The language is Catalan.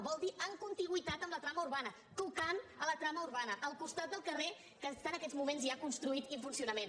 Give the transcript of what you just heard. vol dir en contigüitat amb la trama urbana tocant a la trama urbana al costat del carrer que està en aquests moments ja construït i en funcio·nament